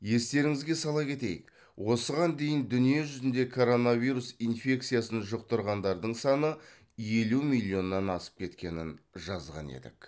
естеріңізге сала кетейік осыған дейін дүниежүзінде коронавирус инфекциясын жұқтырғандардың саны елу миллионнан асып кеткенін жазған едік